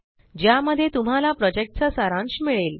ज्यामध्ये तुम्हाला प्रॉजेक्टचा सारांश मिळेल